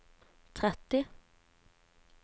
tretti